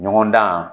Ɲɔgɔndan